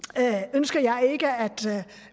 ønsker jeg ikke at